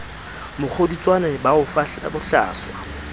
mokgodutswane ba o fahla bohlaswa